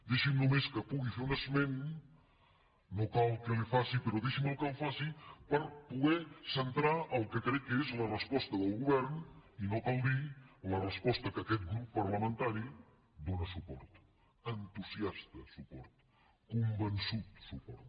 deixi’m només que pugui fer un esment no cal que l’hi faci però deixi me’l que el faci per poder centrar el que crec que és la resposta del govern i no cal dir ho la resposta a què aquest grup parlamentari dóna suport entusiasta suport convençut suport